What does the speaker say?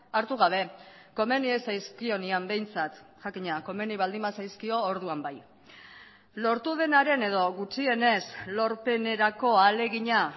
hartu gabe komeni ez zaizkionean behintzat jakina komeni baldin bazaizkio orduan bai lortu denaren edo gutxienez lorpenerako ahalegina